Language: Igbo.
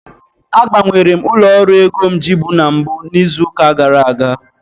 agbanwere m ụlọ ọrụ ego m ji bụ na mbụ n'izu ụka gara aga